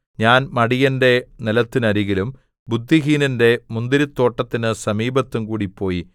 ഞാൻ മടിയന്റെ നിലത്തിനരികിലും ബുദ്ധിഹീനന്റെ മുന്തിരിത്തോട്ടത്തിന് സമീപത്തും കൂടി പോയി